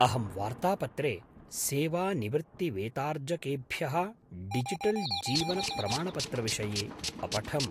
अहं वार्तापत्रे सेवानिवृत्तिवेतार्जकेभ्यः डिजिटल् जीवनप्रमाणपत्रविषये अपठम्।